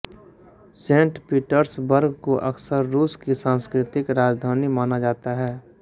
Saint Petersburg को अक्सर रूस की सांस्कृतिक राजधानी माना जाता है